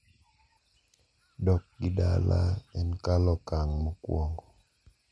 Dokgi dala en kalo okang` mokwongo.